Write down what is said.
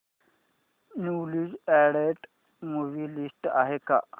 newly added movie list आहे का